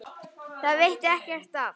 Það veitti ekki af.